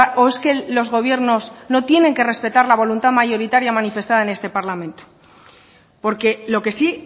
o es que los gobiernos no tienen que respetar la voluntad mayoritaria manifestada en este parlamento porque lo que sí